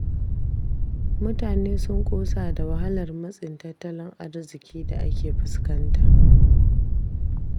Mutane sun ƙosa da wahalar matsin tattalin arziƙi da ake fuskanta.